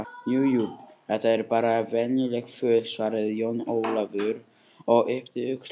Jú, jú, þetta eru bara venjuleg föt, svaraði Jón Ólafur og yppti öxlum.